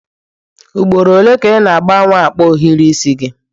Ugboro ole ka ị na-agbanwe akpa ohiri isi gị?